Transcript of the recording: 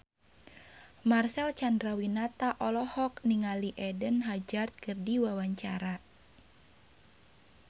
Marcel Chandrawinata olohok ningali Eden Hazard keur diwawancara